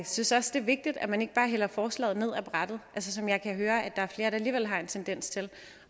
synes også det er vigtigt at man ikke bare hælder forslaget ned af brættet som jeg kan høre at der er flere der alligevel har en tendens til